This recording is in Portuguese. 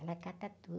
Ela cata tudo.